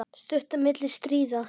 Stund milli stríða.